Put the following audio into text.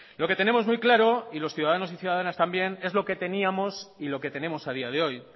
lo que tenemos muy claro y los ciudadanos y ciudadanas también es lo que teníamos y lo que tenemos a día de hoy